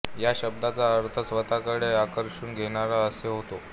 या शब्दाचा अर्थ स्वतःकडे आकर्षून घेणारा असा होतो